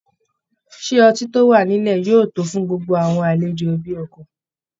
Ṣé ọtí tó wà nílẹ̀ yóò tó fún gbogbo àwọn aléjò ẹbi ọkọ?